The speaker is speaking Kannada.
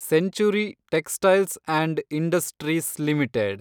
century textiles and industries limited